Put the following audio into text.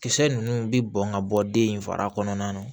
Kisɛ ninnu bɛ bɔn ka bɔ den in fara kɔnɔna na